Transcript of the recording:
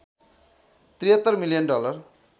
७३ million dollar